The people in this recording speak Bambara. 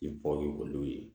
I bɔ ye olu ye